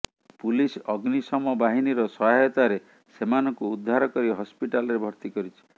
police ଅଗ୍ନିଶମ ବାହିନୀର ସହାୟତାରେ ସେମାନଙ୍କୁ ଉଦ୍ଧାର କରି ହସପିଟାଲରେ ଭର୍ତି କରିଛି